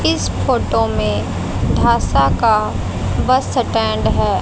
इस फोटो में ढासा का बस सटेंड हैं।